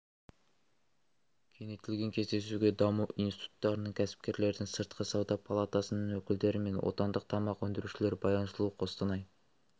кеңейтілген кездесуге даму институттарының кәсіпкерлердің сыртқы сауда палатасының өкілдері мен отандық тамақ өндірушілер баян сұлу қостанай